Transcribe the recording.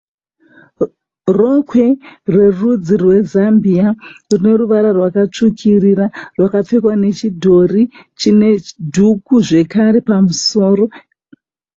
Rokwe rerudzi rweZambia runovara rwakatsvukirira rakapfekwa nechidhori chine dhuku zvakare pamusoro.